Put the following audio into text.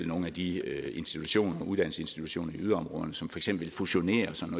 nogle af de uddannelsesinstitutioner i yderområderne som eksempel fusionerer og sådan